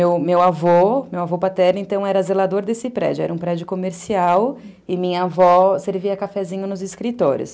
E o meu meu avô, meu avô paterno, então era zelador desse prédio, era um prédio comercial e minha avó servia cafezinho nos escritórios.